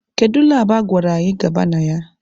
Kedu labụ a gwara anyị gaba na ya?